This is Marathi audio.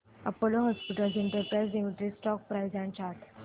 Apollo Hospitals Enterprise Limited stock price and chart